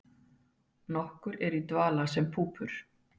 nokkur eru í dvala sem púpur